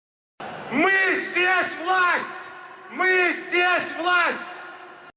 мы здесь власть мы здесь власть